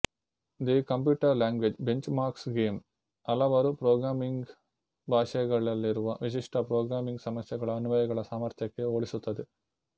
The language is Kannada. the computer language benchmarks game ಹಲವಾರು ಪ್ರೊಗ್ರಾಮಿಂಗ್ ಭಾಷೆಗಳಲ್ಲಿರುವ ವಿಶಿಷ್ಟ ಪ್ರೊಗ್ರಾಮಿಂಗ್ ಸಮಸ್ಯೆಗಳ ಅನ್ವಯಗಳ ಸಾಮರ್ಥ್ಯಕ್ಕೆ ಹೋಲಿಸುತ್ತದೆ